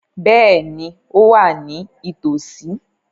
Bẹ́ẹ̀ni, ó wà ní ìtòòsí.